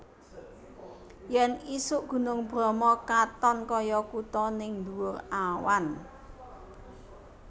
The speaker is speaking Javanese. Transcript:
Yen isuk Gunung Bromo katon koyo kuto ning ndhuwur awan